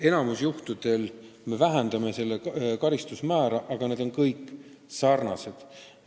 Enamikul juhtudel me vähendame karistuse määra, aga need on kõik sarnased.